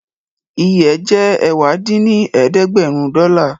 Iye ẹ̀ jẹ́ ẹ̀wá dín ní ẹ̀ẹ́dẹ́gbẹ́rún dọ́là